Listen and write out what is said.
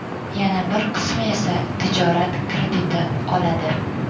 Yana bir qismi esa tijorat krediti oladi.